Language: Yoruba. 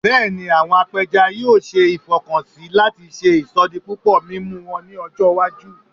Bẹẹni, awọn apẹja yoo ṣe ifọkansi lati ṣe isodipupo mimu wọn ni ọjọ iwaju